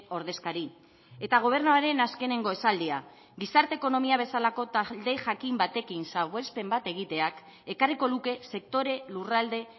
ordezkari eta gobernuaren azkeneko esaldia gizarte ekonomia bezalako talde jakin batekin salbuespen bat egiteak ekarriko luke sektore lurralde